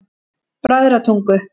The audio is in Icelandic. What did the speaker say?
Bræðratungu